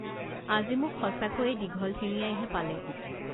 আজি মোক সঁচাকৈয়ে দীঘল ঠেঙীয়াইহে পালে